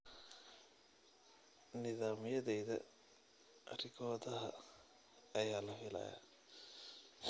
Nidaamyadayada rikoodhada ayaa la filayaa.